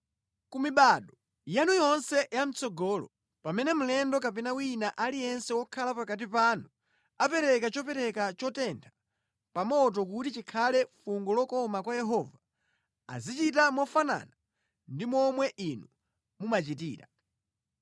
Ku mibado yanu yonse ya mʼtsogolo, pamene mlendo kapena wina aliyense wokhala pakati panu apereka chopereka chotentha pa moto kuti chikhale fungo lokoma kwa Yehova, azichita mofanana ndi momwe inu mumachitira.